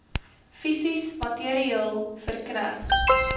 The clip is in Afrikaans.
fisies materieel verkneg